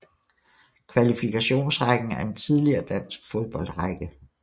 Kvalifikationsrækken er en tidligere dansk fodboldrække